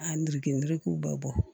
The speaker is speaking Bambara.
A nriki ndigiw bɛ bɔ